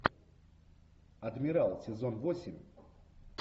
адмирал сезон восемь